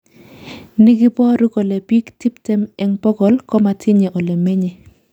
Ni koboru kole biik tiptem eng bokol komatinye ole menye